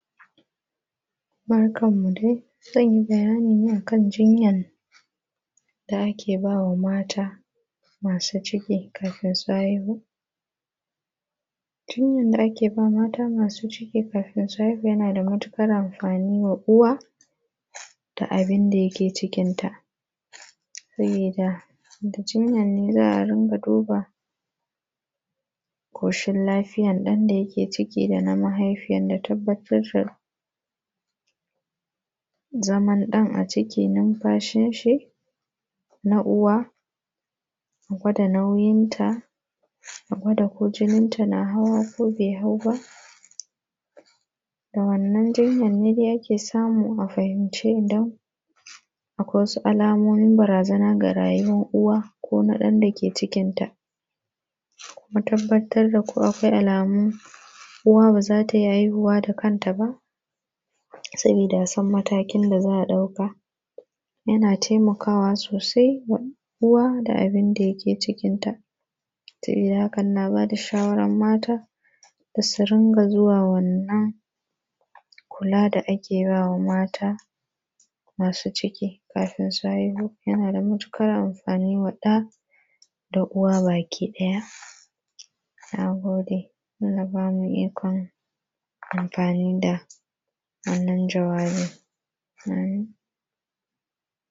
Barkanmu dai. Zan yi bayani ne a kan jinyan da ake ba wa mata, masu ciki kafin su haihu. Jinyan da ake ba mata masu ciki kafin su haihu yana da matuƙar amfani ma uwa, da abin da yake cikinta. Sabida, da jinyan ne za a ringa duba, ƙoshin lafiyan ɗan da yake ciki da na mahaifiyan da tabbatar da zaman ɗan a ciki, numfashinshi, na uwa, a gwada nauyinta, a gwada ko jininta na hawa ko bai hau ba. Da wannan jinyan ne dai ake samu a fahimci idan, akwai wasu alamomin barazana ga rayuwan uwa ko na ɗan da ke cikinta. Mu tabbatar da ko akwai alaman uwa ba za ta iya haihuwa da kanta ba, sabida a san matakin da za a ɗauka. Yana taimakawa sosai wa uwa da abin da yake cikinta. Sabida hakan ina ba da shawaran mata, da su ringa zuwa wannan, kula da ake ba wa mata masu ciki kafin su haihu, yana da matuƙar amfani wa ɗa, da uwa bakiɗaya. Na gode. Allah ba mu ikon amfani da wannan jawabi, amin.